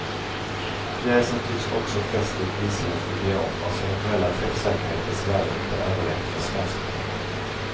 Pjäsen tycks också fäst i ett isländskt idiom vars eventuella träffsäkerhet dessvärre inte överlevt försvenskningen.